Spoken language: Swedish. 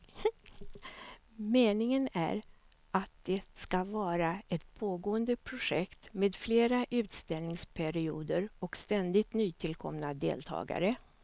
Meningen är att det ska vara ett pågående projekt med fler utställningsperioder och ständigt nytillkomna deltagare.